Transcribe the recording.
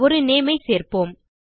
ஒரு நேம் ஐ சேர்ப்போம்